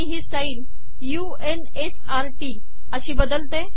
मी हि style u n s r TT अशी बदलते